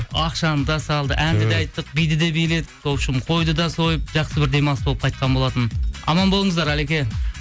ақшаны да салды әнді де айттық биді де биледік в общем қойды да сойып жақсы бір демалыс болып қайтқан болатын аман болыңыздар алеке